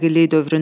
Birinci mərhələ.